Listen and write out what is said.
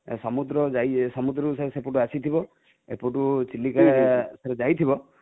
ସମୁଦ୍ରକୁ ଯାଇକି ସମୁଦ୍ରକୁ ସେପଟୁ ଆସିଥିବ ଏପଟୁ ଚିଲିକା ଏଠାରେ ଯାଇଥିବ